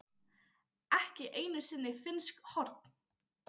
ekki einu sinni finnsk horn.